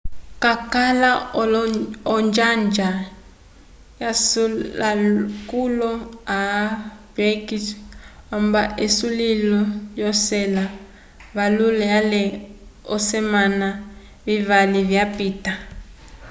cakala onjanja yasulakoolo all blacks vamba esulilo lyocela vayulile ale olesemana vivali vyapita